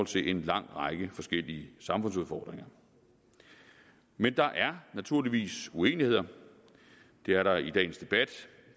til en lang række forskellige samfundsudfordringer men der er naturligvis uenigheder det er der i dagens debat